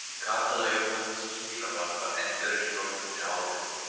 Kapella Jóhannesar skírara var endurreist frá grunni árið